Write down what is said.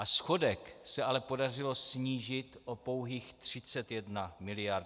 A schodek se ale podařilo snížit o pouhých 31 miliard.